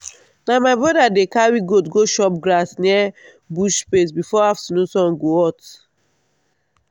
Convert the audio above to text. na my brother dey carry goat go chop grass near bush space before afternoon sun go hot.